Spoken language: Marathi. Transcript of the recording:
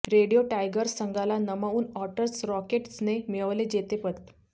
रेडिओ टायगर्स संघाला नमवून ऑटर्स रॉकेट्सने मिळविले जेतेपद